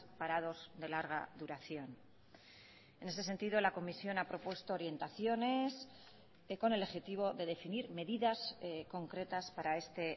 parados de larga duración en ese sentido la comisión ha propuesto orientaciones con el objetivo de definir medidas concretas para este